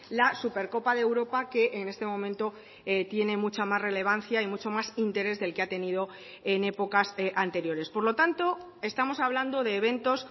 la supercopa de europa que en este momento tiene mucha más relevancia y mucho más interés del que ha tenido en épocas anteriores por lo tanto estamos hablando de eventos